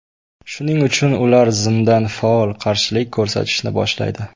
Shuning uchun ular zimdan faol qarshilik ko‘rsatishni boshlaydi.